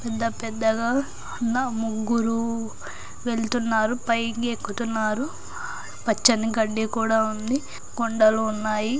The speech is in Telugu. ఇంత పెద్దగా ఉన్న ముగ్గురూ వెళ్తున్నారు. పైకి ఎక్కుతున్నారు పచ్చని గడ్డి కూడా ఉంది. కొండలు ఉన్నాయి.